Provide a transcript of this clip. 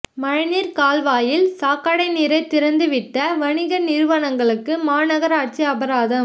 மழைநீா் கால்வாயில் சாக்கடை நீரை திறந்துவிட்ட வணிக நிறுவனங்களுக்கு மாநகராட்சி அபராதம்